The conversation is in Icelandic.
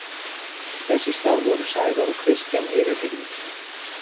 Þess í stað voru Sævar og Kristján yfirheyrðir.